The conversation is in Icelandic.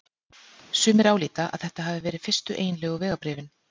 Sumir álíta að þetta hafi verið fyrstu eiginlegu vegabréfin.